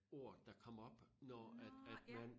Ord der kom op når at at man